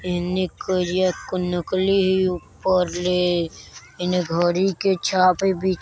इने करिया कुन नकली ही ऊपर ले इने घड़ी के छापे बि --